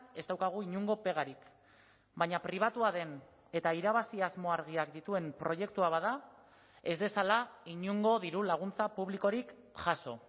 ez daukagu inongo pegarik baina pribatua den eta irabazi asmo argiak dituen proiektua bada ez dezala inongo dirulaguntza publikorik jaso